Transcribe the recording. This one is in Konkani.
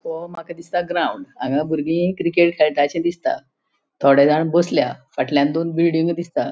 हो माका दिसता ग्राउन्ड हांगा भूरगी क्रिकेट खेळटा शे दिसता थोड़ेजाण बसल्या फाटल्यान दोन बिल्डिंग्यो दिसता.